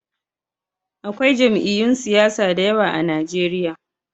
Akwai jami'yyun siyasa da yawa a Najeriya